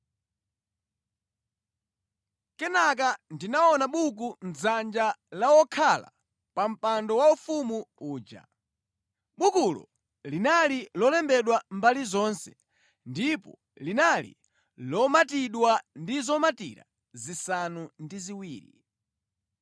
Kenaka ndinaona buku mʼdzanja la wokhala pa mpando waufumu uja. Bukulo linali lolembedwa mbali zonse ndipo linali lomatidwa ndi zomatira zisanu ndi ziwiri.